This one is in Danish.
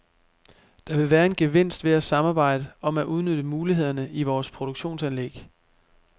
Der vil være en gevinst ved at samarbejde om at udnytte mulighederne i vores produktionsanlæg.